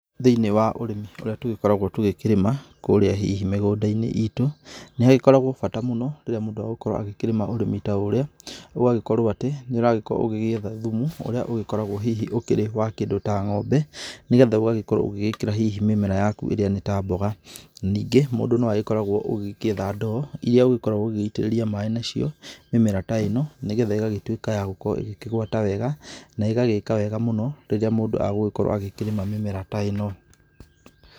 Thĩini wa ũrĩmi ũrĩa tũgĩkoragwo tũgĩkĩrĩma, kũrĩa hihi mĩgũndainĩ itũ, nĩ hagĩkoragũo bata mũno rĩrĩa mũndũ agũkorũo agĩkĩrĩma ũrĩmi ta ũrĩa. Ũgagĩkorũo atĩ, nĩ ũragĩkorwo ũgĩgĩetha thumu ũrĩa ũgĩkoragũo hihi ũkĩrĩ wa kĩndũ ta ngo'mbe, nĩgetha ũgagĩkorwo ũgĩgĩkĩra hihi mĩmera yaku ĩrĩa nĩ ta mboga. Ningĩ mũndũ nĩ agĩkoragũo ũgĩgĩetha ndoo iria ũgĩkoragwo ũgĩgĩitĩrĩria maaĩ nacio mĩmera ta ĩno nĩgetha ĩgagĩtuĩka ya gũkorũo ĩkĩgũata wega na ĩgagĩka wega mũno rĩrĩa mũndũ agũgĩkorwo akĩrĩma mĩmera ta ĩno.